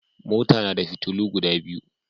Mota nada fitulu guda biyu